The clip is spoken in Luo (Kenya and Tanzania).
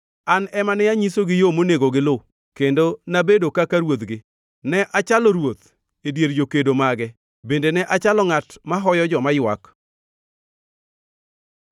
An ema ne anyisogi yo monego gilu kendo nabedo kaka ruodhgi; ne achalo ruoth e dier jokedo mage; bende ne achalo ngʼat mahoyo joma ywak.”